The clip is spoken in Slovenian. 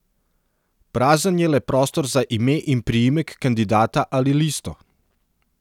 Prazen je le prostor za ime in priimek kandidata ali listo.